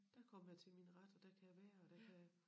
Der kommer jeg til min ret og der kan jeg være og der kan jeg